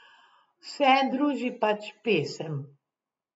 Vse druži pač pesem.